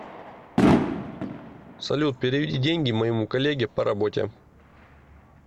салют переведи деньги моему коллеге по работе